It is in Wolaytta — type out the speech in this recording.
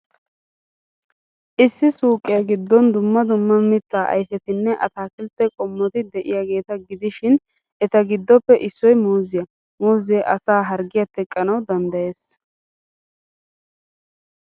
Issi suuqiyaa giddon dumma dumma mitta ayfetinne ataakiltte qommoti de'iyaageeta gidishin eta giddoppe issoy muuziyaa. Muuzee asaa harggiyaa teqqanawu danddayees.